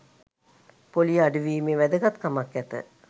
පොලිය අඩුවීමේ වැදගත්කමක් ඇත